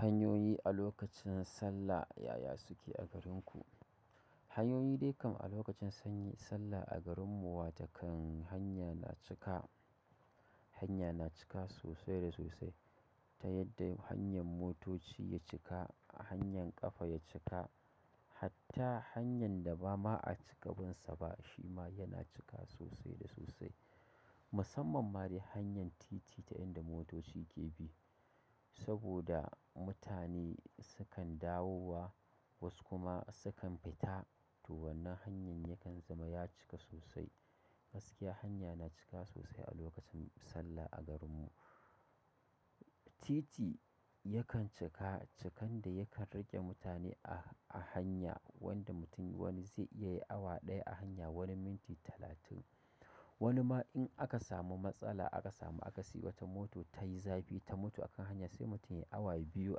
Hanyoyi a lokacin sallah yaya suke a garinku? Hanyoyi dai kam a lokacin sallah a garin mu wata kan hanya na cika, hanya na cika sosai da sosai. Ta yadda hanyar motoci ya cika, hanyar ƙafa ya cika, hatta hanyar da ba ma a cika bin sa ba shi ma yana cika sosai da sosai. Musamman ma dai hanyar titi ta inda motoci ke bi saboda mutane sukan dawowa wasu kuma sukan fita. To wannan hanyar yakan zama ya cika sosai. Gaskiya hanya na cika sosai a lokacin sallah a garin mu. Titi yakan cika cikan da yakan rage mutane a, a hanya wanda mutum wani zai iya yi awa ɗaya a hanya wani minti talatin. Wani ma in aka samu matsala aka samu aka siyo wata mota ta yi zafi ta mutu a kan hanya sai mutum ya yi awa biyu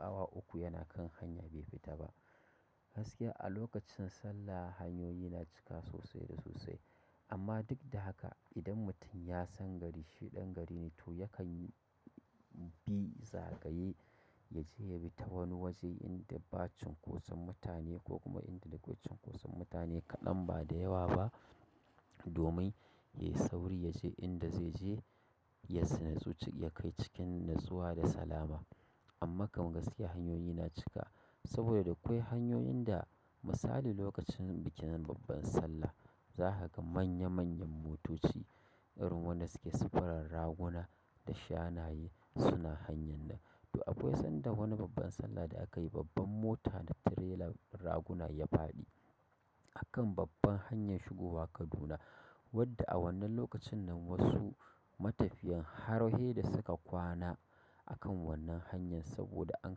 awa uku yana kan hanya bai fita ba. Gaskiya a lokacin sallah hanyoyi na cika sosai da sosai. Amma duk da haka idan mutum ya san gari shi ɗan gari ne to yakan bi zagaye yaje ya bi ta wani waje inda ba cinƙosan mutane ko kuma inda da cinƙosan mutane kaɗan bada yawa ba domin ya yi sauri ya je inda zai je ya tsine zuciya kai cikin natsuwa da salama. Amma kam gaskiya hanyoyi na cika saboda da akwai hanyoyin da misali lokacin bikin babban sallah za ka ga manya manyan motoci irin wanda suke sufurin raguna da shanayen suna hanyar nan. To akwai sanda wani babban sallah da aka yi babbar mota na tirelan raguna ya faɗi a kan babban hanyar shigowa Kaduna wadda a wannan lokacin nan wasu matafiyan har heda suka kwana a kan wannan hanyar saboda an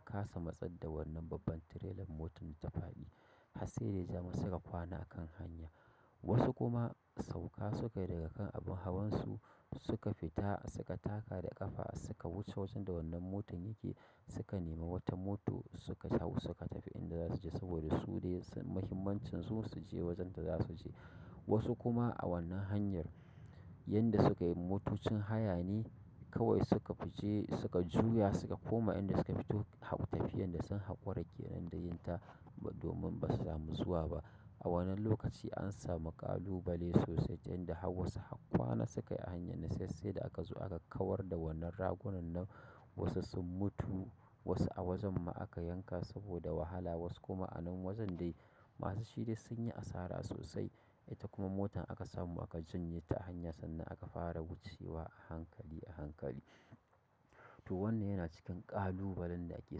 ƙasa matsar da wannan babban tirelan motar da ta faɗi. Har sai dai ya ja suka kwana a kan hanya. Wasu kuma sauƙa suka yi daga kan abin hawan su suka fita suka taka da ƙafa suka wuce wajen da wannan motar yake suka nemi wata mota suka hau suka tafi inda za su je saboda su dai muhimmancin su, su je wajen da za su je. Wasu kuma a wannan hanyar, yanda suka yi motocin hayane kawai suka fi je suka juya suka koma inda suka fito har tafiyan da sun haƙura kenan da yin ta domin ba su samu zuwa ba. A wannan lokaci an samu ƙalubale sosai ta inda har wasu har kwana suka yi a hanyar nan sai sai da aka zo aka kawar da wannan ragunan nan. Wasu sun mutu wasu a wajen ma aka yanka saboda wahala wasu kuma a nan wajen dai masu shi dai sun yi asara sosai. Ita kuma motar aka samu aka janye ta a hanya sannan aka fara wucewa a hankali a hankali. To wannan yana cikin ƙalubalen da ake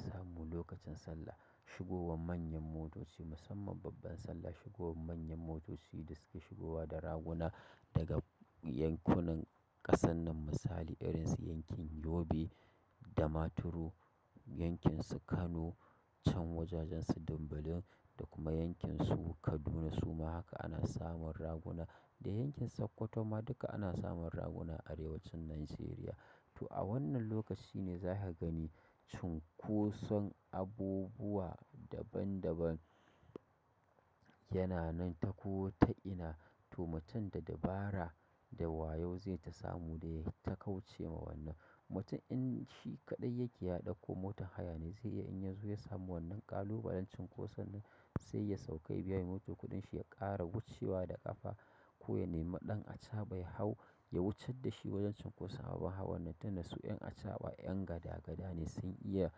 samu lokacin sallah. Shigowan manyan motoci musamman babban sallah shigowan manyan motoci da suke shigowa da raguna daga yankunan ƙasan nan misali irin su yankin Yobe. Damaturu, yankin su Kano can wajajen su Dimbilin da kuma yankin su Kaduna suma haka ana samun raguna. Yankin Sokota ma duka ana samun raguna a Arewacin Nijeriya. To a wannan lokaci ne za ka gani cunkoson abubuwa daban daban yana nan ta ko ta ina. To mutum da dabara da wayo zai ta samu dai ya yi ta kauce ma wannan. Mutum in shi kaɗai yake ya ɗauko motar haya ne zai iya in ya zo ya samu wannan ƙalubalen cunkoson nan sai ya sauƙa ya biya mai moto kuɗin shi ya ƙara wucewa da ƙafa ko ya nemi ɗan acaɓa ya hau ya wuce da shi wajen cunkoso. Abun hawan nan tunda su ƴan acaɓa ƴan gada gada ne sun iya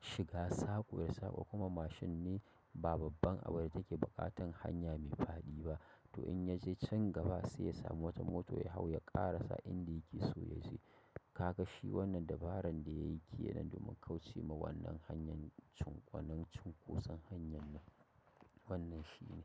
shiga saƙo da saƙo kuma mashin ne ba babban abin da take buƙatan hanya mai faɗi ba. To in ya je can gaba sai ya samu wata mota ya hau ya ƙara sa inda yake so ya je. Ka ga shi wannan dabaran da ya yi ke nan domin kauce ma wannan hanyar cunkoson wannan cunkoson hanyar nan wannan shi ne.